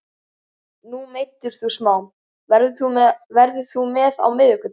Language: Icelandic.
Nú meiddist þú smá, verður þú með á miðvikudag?